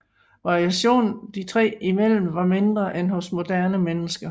Variationen de tre imellem var mindre end hos moderne mennesker